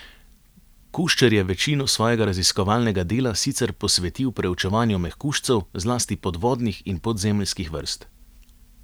Kuščer je večino svojega raziskovalnega dela sicer posvetil preučevanju mehkužcev, zlasti podvodnih in podzemeljskih vrst.